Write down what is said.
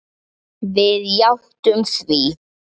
Við játtum því.